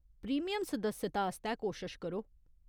Premium सदस्यता आस्तै कोशश करो।